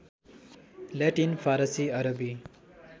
Latin Farsi Arabi